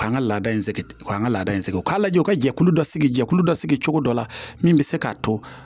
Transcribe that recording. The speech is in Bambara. K'an ka laada in sɛgi k'an ka laada in sɛgɛn o k'a lajɛ u ka jɛkulu dɔ sigi jɛkulu dɔ sigi cogo dɔ la min bɛ se k'a to